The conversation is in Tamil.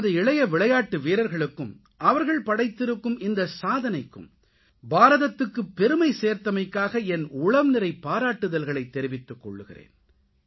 நமது இளைய விளையாட்டு வீரர்களுக்கும் அவர்கள் படைத்திருக்கும் இந்த சாதனைக்கும் பாரதத்துக்குப் பெருமை சேர்த்தமைக்காக என் உளம்நிறை பாராட்டுதல்களைத் தெரிவித்துக் கொள்கிறேன்